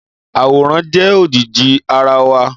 Àwòrán jẹ ojíjí àrá wá